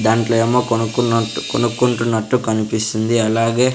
దాంట్లో ఏమో కొనుక్కున్నట్టు కొనుక్కుంటున్నట్టు కనిపిస్తుంది అలాగే.